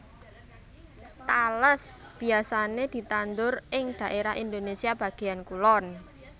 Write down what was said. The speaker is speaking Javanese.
Tales biyasané ditandur ing dhaérah Indonésia bagéyan kulon